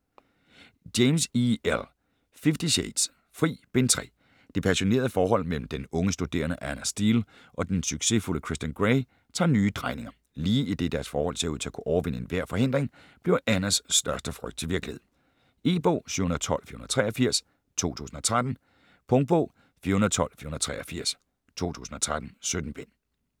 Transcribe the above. James, E. L.: Fifty shades: Fri: Bind 3 Det passionerede forhold mellem den unge studerende Ana Steele og den succesfulde Christian Grey tager nye drejninger. Lige idet deres forhold ser ud til at kunne overvinde enhver forhindring, bliver Anas største frygt til virkelighed. E-bog 712483 2013. Punktbog 412483 2013. 17 bind.